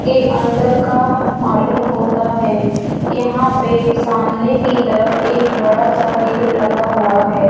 के अंदर का मालूम होता है यहां पे सामने की तरफ एक बड़ा सा गेट लगा हुआ है।